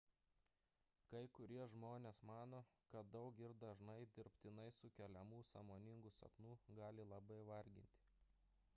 kai kurie žmonės mano kad daug ir dažnai dirbtinai sukeliamų sąmoningų sapnų gali labai varginti